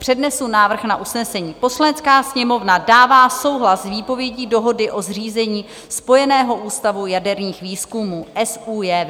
Přednesu návrh na usnesení: "Poslanecká sněmovna dává souhlas s výpovědí Dohody o zřízení Spojeného ústavu jaderných výzkumů SÚJV."